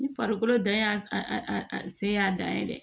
Ni farikolo dan y'a sen y'a dan ye dɛ